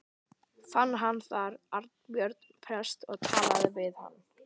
Fann hann þar Arnbjörn prest og talaði við hann.